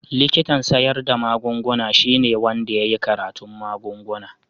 Likitan siyar da magunguna shine wanda ya yi karatun magunguna.